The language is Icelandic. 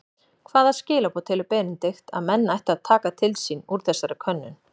Hvaða skilaboð telur Benedikt að menn ættu að taka til sín úr þessari könnun?